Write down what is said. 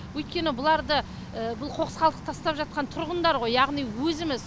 өйткені бұларды бұл қоқыс қалдықты тастап жатқан тұрғындар ғой яғни өзіміз